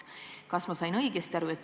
Kas ma sain õigesti aru?